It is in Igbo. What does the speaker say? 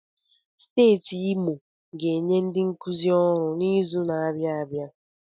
Steeti Imo ga-enye ndi nkuzi ọrụ n'izuka na-abịa abịa.